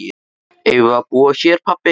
Eigum við að búa hér pabbi?